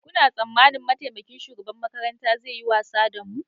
Kuna tsammanin mataimakin shugaban makarantar zai yi wasa da mu?